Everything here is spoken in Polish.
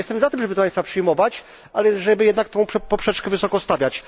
Ja jestem za tym, żeby te państwa przyjmować, ale żeby jednak tę poprzeczkę wysoko stawiać.